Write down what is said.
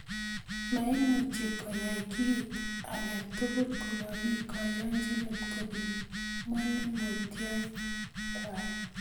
Moimuchi koyai kit age tugul komomi koyonchinet kobun manongotoikwai